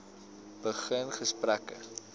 begin gesprekke